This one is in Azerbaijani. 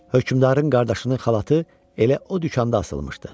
Hökmdarın qardaşının xalatı elə o dükanda asılmışdı.